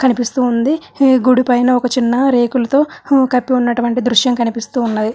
కనిపిస్తూ ఉంది. గుడి పైన ఒక చిన్న రేకులతో కప్పి ఉన్నటువంటి దృశ్యం కనిపిస్తూ ఉన్నది.